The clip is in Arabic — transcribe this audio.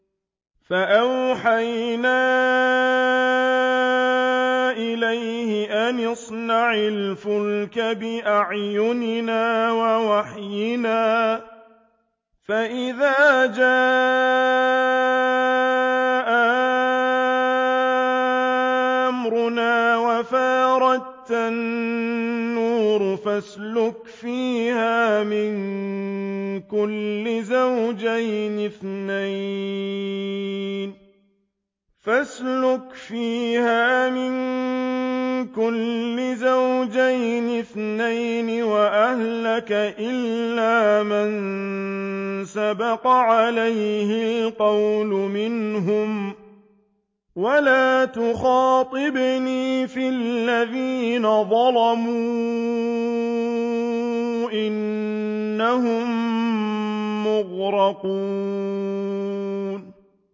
فَأَوْحَيْنَا إِلَيْهِ أَنِ اصْنَعِ الْفُلْكَ بِأَعْيُنِنَا وَوَحْيِنَا فَإِذَا جَاءَ أَمْرُنَا وَفَارَ التَّنُّورُ ۙ فَاسْلُكْ فِيهَا مِن كُلٍّ زَوْجَيْنِ اثْنَيْنِ وَأَهْلَكَ إِلَّا مَن سَبَقَ عَلَيْهِ الْقَوْلُ مِنْهُمْ ۖ وَلَا تُخَاطِبْنِي فِي الَّذِينَ ظَلَمُوا ۖ إِنَّهُم مُّغْرَقُونَ